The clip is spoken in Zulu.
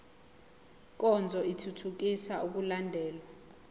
nkonzo ithuthukisa ukulandelwa